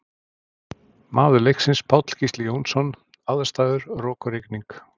Maður leiksins Páll Gísli Jónsson Aðstæður Rok og rigning.